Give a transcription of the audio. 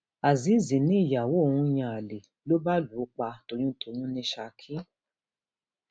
azeez níyàwó òun ń yan àlè ló bá lù ú pa toyúntọyún ní saki